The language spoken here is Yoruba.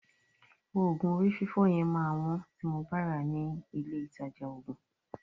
Òògùn orí fífọ́ yẹn máa wọ́n tí mo bá ràá ní ilé ìtajà òògùn.